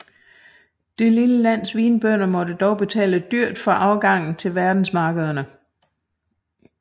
Det lille lands vinbønder måtte dog betale dyrt for afgangen til verdensmarkederne